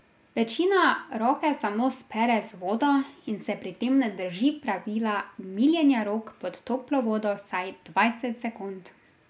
Večina roke samo spere z vodo in se pri tem ne drži pravila miljenja rok pod toplo vodo vsaj dvajset sekund.